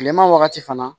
Kilema wagati fana